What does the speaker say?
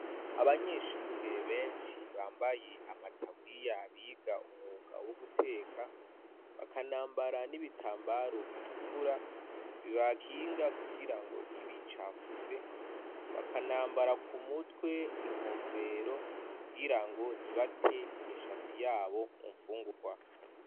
Abanyeshure benshi bambaye amataburiya. Biga umwuga wo guteka bakanambara n'ibitambaro bitukura, bibakinga kugira ngo ntibicafuze, bakanambara ku mutwe inkofero kugirango ntibate imishatsi y'abo mu mgungukwa.